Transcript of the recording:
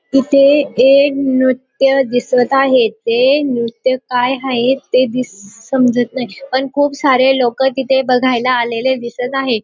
इथे एक नृत्य दिसत आहे. ते नृत्य काय हाये ते दिस समजत नाही. पण खूप सारे लोक तिथे बघायला आलेले दिसत आहे.